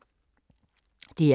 DR K